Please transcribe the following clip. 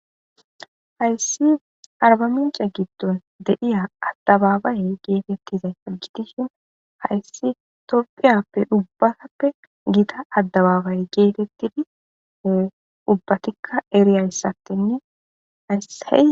Hayssi arbamincce giddon de7iya addababaye geetettizayssa gidishin hayssi tophiyappe ubbatappe gita addebabaeye geetettitidi ubbatikka eriyayssttenne hayss.